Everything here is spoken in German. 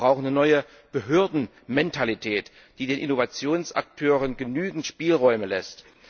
Wir brauchen eine neue Behördenmentalität, die den Innovationsakteuren genügend Spielräume lässt.